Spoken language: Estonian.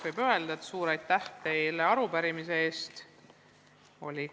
Kohe alguses ütlen suure aitäh teile arupärimise eest!